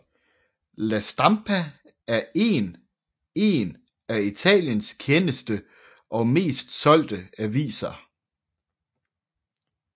La Stampa er én af Italiens kendeste og mest solgte aviser